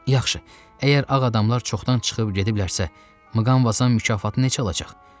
Yaxşı, əgər ağ adamlar çoxdan çıxıb gediblərsə, Mqanvazam mükafatı necə alacaq?